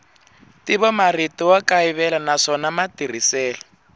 ntivomarito wa kayivela naswona matirhiselo